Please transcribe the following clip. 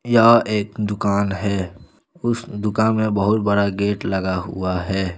यह एक दुकान है उस दुकान में बहुत बड़ा गेट लगा हुआ है।